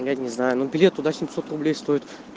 ну я не знаю ну билет туда семьсот рублей стоит